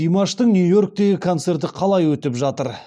димаштың нью йорктегі концерті қалай өтіп жатыр